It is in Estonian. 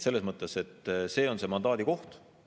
Selles mõttes on see mandaadi koht.